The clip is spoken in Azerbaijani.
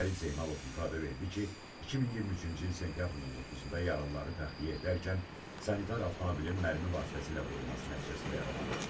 Fərid Zeynalov ifadə verdi ki, 2023-cü il sentyabrın 19-da yaralıları təxliyə edərkən sanitar avtomobilin mərmi vasitəsilə vurulması nəticəsində yaralanıb.